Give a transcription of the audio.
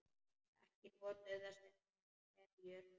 Ekki notuðu þessir menn verjur.